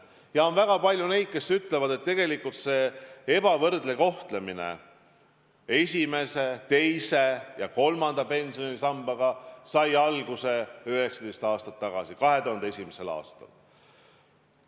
Ja on väga palju neid, kes ütlevad, et tegelikult sai ebavõrdne kohtlemine seoses esimese, teise ja kolmanda pensionisambaga alguse 19 aastat tagasi ehk 2001. aastal.